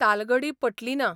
तालगढी पटली ना.